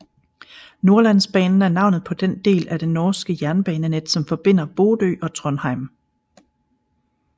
Nordlandsbanen er navnet på den del af det norske jernbanenet som forbinder Bodø og Trondheim